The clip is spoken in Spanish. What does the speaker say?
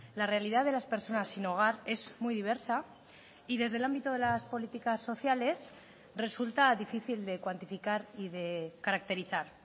la realidad de las personas sin hogar es muy diversa y desde el ámbito de las políticas sociales resulta difícil de cuantificar y de caracterizar